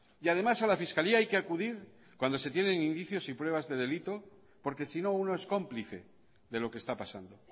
y además a la fiscalía hay que acudir cuando se tienen indicios y pruebas de delito porque sino uno es cómplice de lo que está pasando